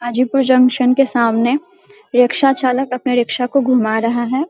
Hajipur junction के सामने रिक्शा चालक अपने रिक्सा को घुमा रहा है।